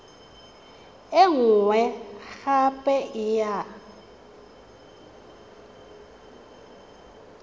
e nngwe gape e ya